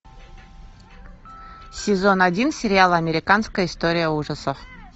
сезон один сериала американская история ужасов